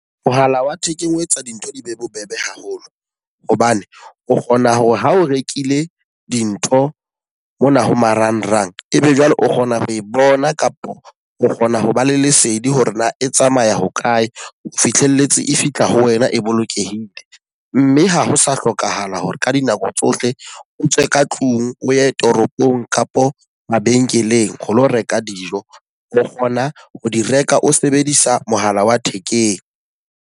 Mohala wa thekeng o etsa dintho di be bobebe haholo. Hobane o kgona hore ha o rekile dintho mona ho marangrang e be jwale o kgona ho e bona kapo o kgona ho ba le lesedi hore na e tsamaya hokae, o fihlelletse e fihla ho wena e bolokehile. Mme ha ho sa hlokahala hore ka dinako tsohle o tswe ka tlung o ye toropong kapo mabenkeleng ho lo reka dijo. O kgona ho di reka o sebedisa mohala wa thekeng.